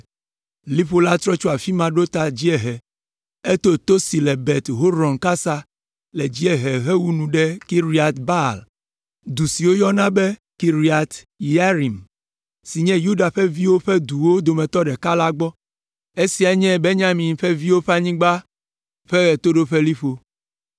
Liƒo la trɔ tso afi ma ɖo ta dziehe, eto to si le Bet Horon kasa le dziehe hewu nu ɖe Kiriat Baal, du si wogayɔna be Kiriat Yearim, si nye Yuda ƒe viwo ƒe duwo dometɔ ɖeka la gbɔ. Esiae nye Benyamin ƒe viwo ƒe anyigba ƒe ɣetoɖoƒeliƒo.